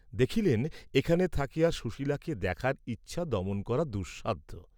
দেখিলেন এখানে থাকিয়া সুশীলাকে দেখার ইচ্ছা দমন করা দুঃসাধ্য।